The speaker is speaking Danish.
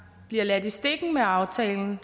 bliver ladt i stikken med aftalen